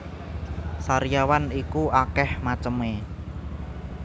Sariawan iku akeh meceme